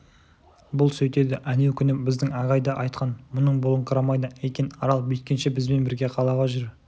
бұл сөйтеді әнеукүні біздің ағай да айтқан мұның болыңқырамайды екен арал бүйткенше бізбен бірге қалаға жүр